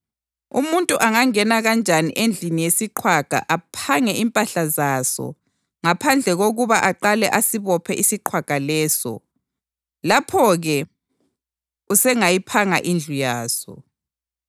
Umuntu angangena kanjani endlini yesiqhwaga aphange impahla zaso ngaphandle kokuba aqale asibophe isiqhwaga leso? Lapho-ke usengayiphanga indlu yaso.